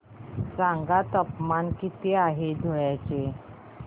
सांगा तापमान किती आहे आज धुळ्याचे